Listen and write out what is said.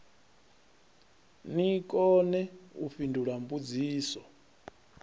ni kone u fhindula mbudziso